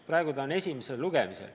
Praegu on esimene lugemine.